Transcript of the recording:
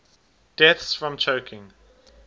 deaths from choking